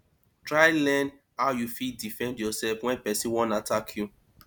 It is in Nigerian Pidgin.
try learn how you fit defend yourself when persin won attack you